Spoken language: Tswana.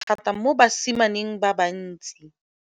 thata mo basimaneng ba bantsi.